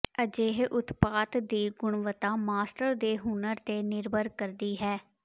ਅਜਿਹੇ ਉਤਪਾਦ ਦੀ ਗੁਣਵੱਤਾ ਮਾਸਟਰ ਦੇ ਹੁਨਰ ਤੇ ਨਿਰਭਰ ਕਰਦੀ ਹੈ